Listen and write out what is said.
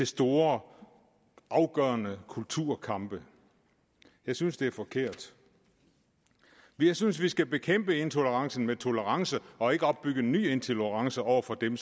store afgørende kulturkampe jeg synes det er forkert jeg synes vi skal bekæmpe intolerancen med tolerance og ikke opbygge en ny intolerance over for dem